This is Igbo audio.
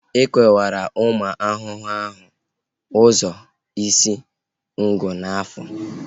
E kewara ahụ ụmụ ahụhụ ụzọ isi, ngụ na afọ